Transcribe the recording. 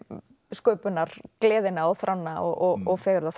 sköpunargleðina og þrána og og